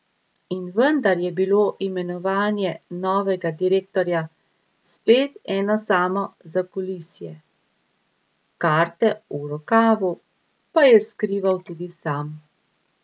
In vendar je bilo imenovanje novega direktorja spet eno samo zakulisje, karte v rokavu pa je skrival tudi sam.